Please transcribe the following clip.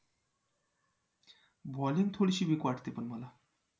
bowling थोडीशी weak वाटते पण मला